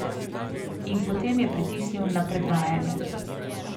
In potem je pritisnil na predvajanje.